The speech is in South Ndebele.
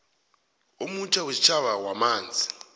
omutjha wesitjhaba wamanzi